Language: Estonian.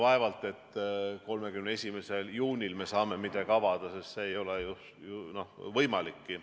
Vaevalt et me 31. juunil saame midagi avada, sest see ei ole ju võimalikki.